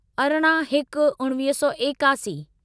अरिड़हं हिक उणिवीह सौ एकासी